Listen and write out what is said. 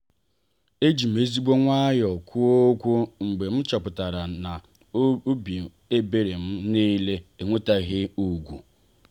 ejim ezigbo nwayọ kwuo okwu mgbe m chọpụtara n'obi ebere m niile enwetaghị ugwu.